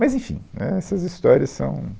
Mas, enfim, né, essas histórias são